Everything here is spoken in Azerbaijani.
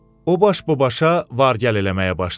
O baş-babaşa var-gəl eləməyə başladı.